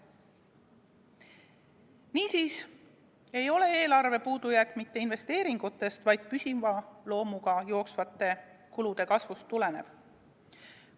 Niisiis ei ole eelarve puudujääk mitte investeeringutest, vaid püsiva loomuga jooksvate kulude kasvust tulenev.